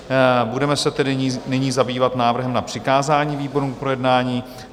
Budeme se tedy nyní zabývat návrhem na přikázání výborům k projednání.